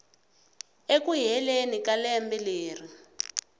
eku heleni ka lembe leri